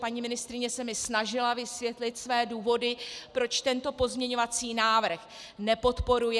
Paní ministryně se mi snažila vysvětlit své důvody, proč tento pozměňovací návrh nepodporuje.